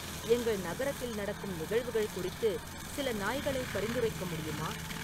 எங்கள் நகரத்தில் நடக்கும் நிகழ்வுகள் குறித்து சில நாய்களை பரிந்துரைக்க முடியுமா